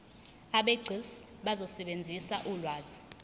abegcis bazosebenzisa ulwazi